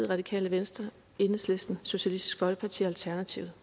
radikale venstre enhedslisten socialistisk folkeparti og alternativet